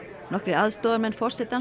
nokkrir aðstoðarmenn forsetans